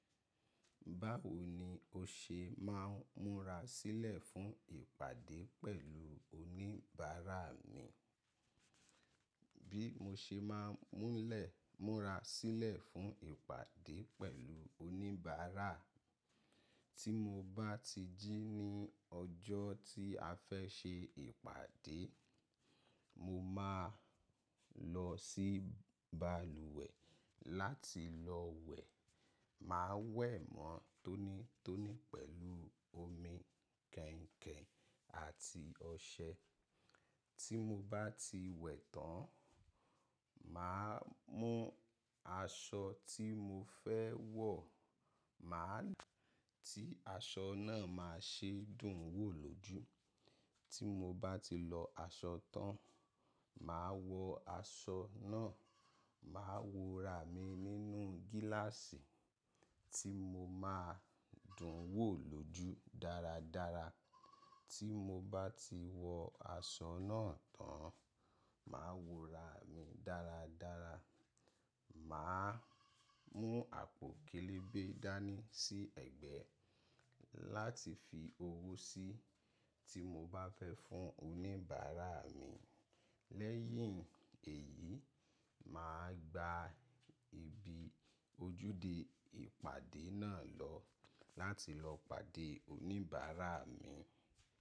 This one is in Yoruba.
Báwo ni o ṣe máa ń múra sílẹ̀ fún ìpàdé pẹ̀lú oníbàárà ni? Bí mo ṣe máa ń múra sílẹ̀ fún ìpàdé pẹ̀lú oníbàárà, tí mo bá ti jí ní ọjọ́ tí a fẹ́ ṣe ìpàdé, mo máa lọ sí balùwẹ̀ láti lọ wẹ̀. Máa wẹ̀ mọ́ tónítóní pẹ̀lú omi kẹ̀ǹkẹ̀ àti ọṣẹ. Tí mo bá ti wẹ̀ tán, màá mú aṣọ tí mo fẹ́ wọ̀, màá ti aṣọ náà máa ṣé dùn wò lójú. Tí mo bá ti lọ aṣọ tán, màá wọ aṣọ náà, màá wo ra mi nínú gíláàsì tí mo máa dùn wò lójú dáradára. Tí mo bá ti wọ aṣọ náà tán, màá wo ra mi dáradára. Màá mú àpò kélébè dání sí ẹ̀gbẹ́ láti fi owó sí tí mo bá fẹ́ fún oníbàárà mi. Lẹ́yìn èyí, màá gba ibi ojúde ìpàdé náà lọ láti lọ pàdé oníbàárà mi.